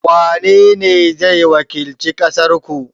wanene zai wakilci ƙasar ku?